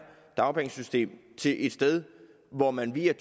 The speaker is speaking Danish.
dagpengesystem til et sted hvor man via